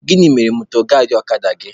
Gịnị mere mọdgaadị ọkada gị?